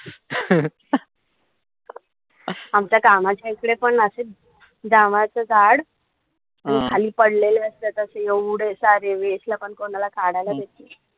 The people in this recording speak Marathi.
आमच्या कामाच्या इकडेपण अशेच जांभळाच झाड खाली पड्लेलंय त्याचे अशे एवढे सारे